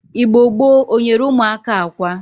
Igbo gboo o nyere umuaka akwa?